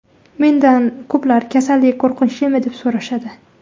Mendan ko‘plar kasallik qo‘rqinchlimi, deb so‘rashadi.